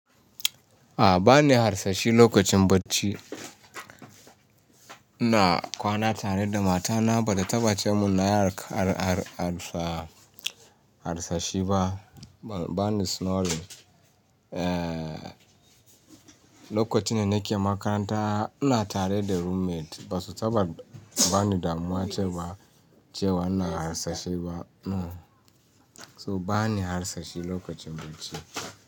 A ba ni harsashi lokacin bacci. Ina kwana tare da mata na bata taɓa ce mun na harsashi ba. Ba ni snoring. Eh, lokacin da nake makaranta ina tare da roommate ba su taɓa ba ni damuwa ce wa, ce wa ina harsashi ba. No, so ba ni harsashi lokacin bacci.